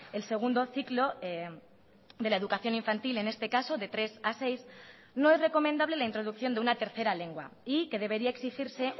el segundo ciclo de la educación infantil en este caso de tres a seis no es recomendable la introducción de una tercera lengua y que debería exigirse